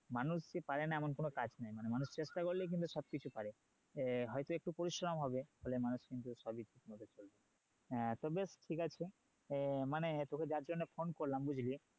মানুষ যে পারে না এমন কোনো কাজ নেই মানুষ চেষ্টা করলেই কিন্তু সব কিছুই পারে হয়তো একটু পরিশ্রম হবে ফলে মানুষ কিন্তু সবই ঠিকমতো করতে পারে তো ব্যাস ঠিকাছে তোকে যার জন্য phone করলাম বুঝলি